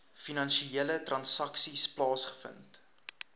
finansiële transaksies plaasgevind